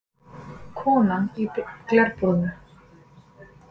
Konan í glerbúrinu?